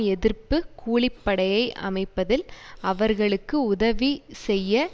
எதிர்ப்பு கூலிப்படையை அமைப்பதில் அவர்களுக்கு உதவி செய்ய